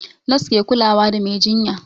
Nos ke kulawa da mai jinya